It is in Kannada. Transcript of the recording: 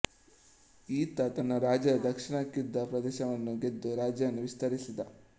ಈತ ತನ್ನ ರಾಜ್ಯದ ದಕ್ಷಿಣಕ್ಕಿದ್ದ ಪ್ರದೇಶವನ್ನು ಗೆದ್ದು ರಾಜ್ಯವನ್ನು ವಿಸ್ತರಿಸಿದ